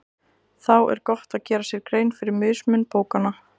Þá er gott að gera sér grein fyrir mismun bókanna.